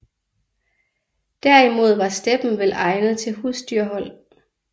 Der imod var steppen vel egnet til husdyrhold